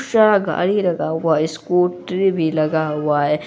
गाड़ी लगा हुआ है स्कूटर भी लगा हुआ है।